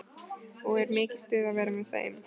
Og er mikið stuð að vera með þeim?